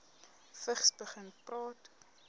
vigs begin praat